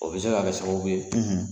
O bɛ se ka kɛ sababu ye.